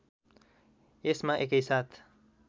यसमा एकैसाथ